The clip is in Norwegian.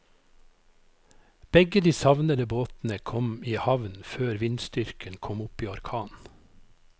Begge de savnede båtene kom i havn før vindstyrken kom opp i orkan.